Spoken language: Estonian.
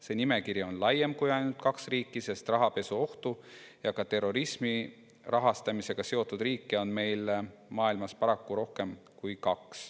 See nimekiri on kui ainult kaks riiki, sest rahapesuga ja ka terrorismi rahastamisega seotud riike on maailmas paraku rohkem kui kaks.